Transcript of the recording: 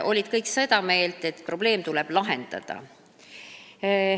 Kõik olid seda meelt, et probleem tuleb lahendada.